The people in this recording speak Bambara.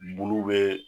Bulu bɛ